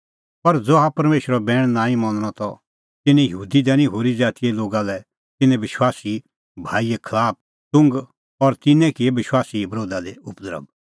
पर ज़हा परमेशरो बैण नांईं मनणअ त तिन्नैं यहूदी दैनी होरी ज़ातीए लोगा लै तिन्नां विश्वासी भाईए खलाफ च़ुघ और तिन्नैं किऐ विश्वासीए बरोधा दी उपद्रभ